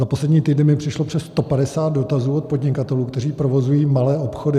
Za poslední týden mi přišlo přes 150 dotazů od podnikatelů, kteří provozují malé obchody.